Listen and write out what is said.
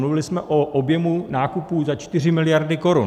Mluvili jsme o objemu nákupů za 4 miliardy korun.